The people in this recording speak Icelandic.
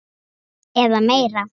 eða meira.